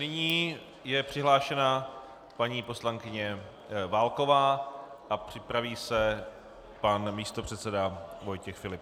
Nyní je přihlášena paní poslankyně Válková a připraví se pan místopředseda Vojtěch Filip.